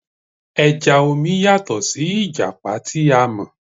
O Lord, come take your own.